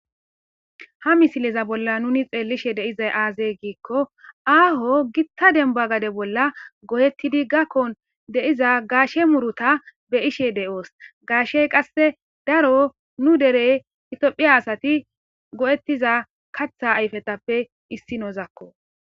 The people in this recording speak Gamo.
Ha misileza bolla nuni xeellishe deizay aazey giikko aaho gitta demba gade bolla go'ettidi gakko deiza gaashe muruta be ishe de'oos gaashey qasse daro nu derey itiophiya asati go'ettiza katha ayfetappe issi nozakko.